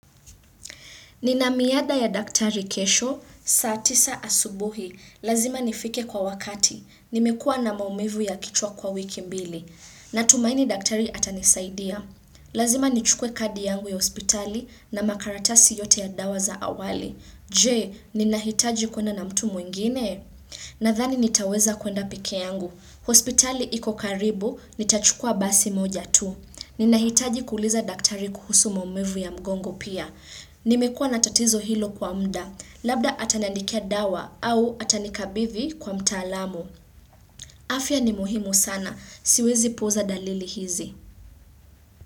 Nina miadi ya daktari kesho, saa tisa asubuhi, lazima nifike kwa wakati, nimekuwa na maumivu ya kichwa kwa wiki mbili, na tumaini daktari atanisaidia. Lazima nichukue kadi yangu ya hospitali na makaratasi yote ya dawa za awali. Je, ninahitaji kwenda na mtu mwingine? Nadhani nitaweza kwenda peke yangu, hospitali iko karibu, nitachukua basi moja tu. Ninahitaji kuuliza daktari kuhusu maumivu ya mgongo pia. Nimekuwa na tatizo hilo kwa muda, labda ataniandikia dawa au atanikabidhi kwa mtaalamu. Afya ni muhimu sana, siwezi puuza dalili hizi.